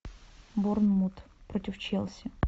борнмут против челси